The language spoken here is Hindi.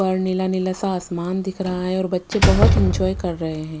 और नीला नीला सा आसमान दिख रहा है और बच्चे बहुत एंजॉय कर रहे हैं।